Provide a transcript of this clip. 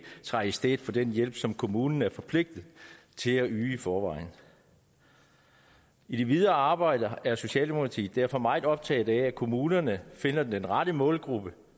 træde i stedet for den hjælp som kommunen er forpligtet til at yde i forvejen i det videre arbejde er socialdemokratiet derfor meget optaget af at kommunerne finder den rette målgruppe